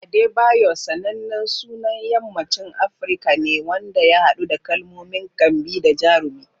Adebayor sanannen sunan yammacin Afirka ne wanda ya haɗu da kalmomin "kambi" da "jarumi."